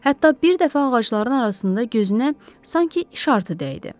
Hətta bir dəfə ağacların arasında gözünə sanki işartı dəydi.